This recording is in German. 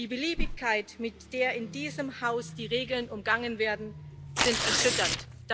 Die Beliebigkeit, mit der in diesem Haus die Regeln umgangen werden, ist erschütternd.